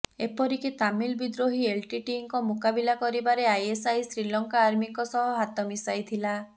ଏପରିକି ତାମିଲ ବିଦ୍ରୋହୀ ଏଲ୍ଟିଟିଇଙ୍କ ମୁକାବିଲା କରିବାରେ ଆଇଏସ୍ଆଇ ଶ୍ରୀଲଙ୍କା ଆର୍ମିଙ୍କ ସହ ହାତ ମିଶାଇଥିଲା